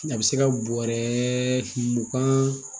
A bɛ se ka bɔrɛ mugan